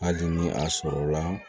Hali ni a sɔrɔla